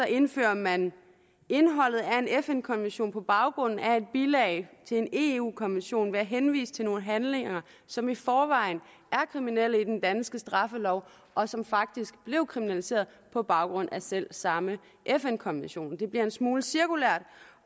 indfører man indholdet af en fn konvention på baggrund af et bilag til en eu konvention ved at henvise til nogle handlinger som i forvejen er kriminelle i den danske straffelov og som faktisk blev kriminaliseret på baggrund af selv samme fn konvention det bliver en smule cirkulært